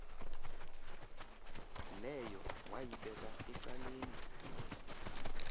leyo wayibeka ecaleni